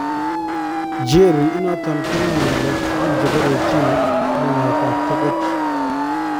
Cheery inoton konae ngalek tukul chebo retina ak naeetab tokoch